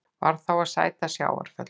Varð þá að sæta sjávarföllum.